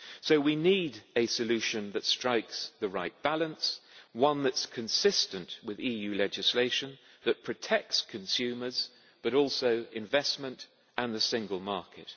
So, we need a solution that strikes the right balance, one that is consistent with EU legislation, that protects consumers but also investment and the single market.